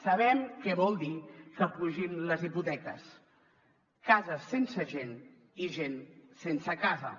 sabem què vol dir que pugin les hipoteques cases sense gent i gent sense casa